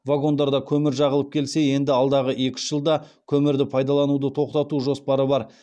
вагондарда көмір жағылып келсе енді алдағы екі үш жылда көмірді пайдалануды тоқтату жоспары бар